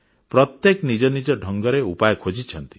ପ୍ରତ୍ୟେକେ ନିଜ ନିଜ ଢଙ୍ଗରେ ଉପାୟ ଖୋଜିଛନ୍ତି